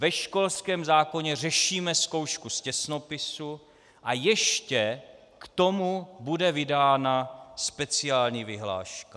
Ve školském zákoně řešíme zkoušku z těsnopisu a ještě k tomu bude vydána speciální vyhláška.